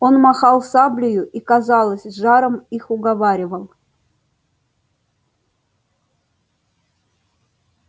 он махал саблею и казалось с жаром их уговаривал